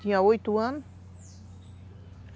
Tinha oito anos.